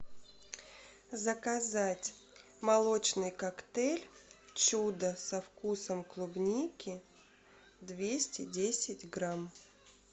заказать молочный коктейль чудо со вкусом клубники двести десять грамм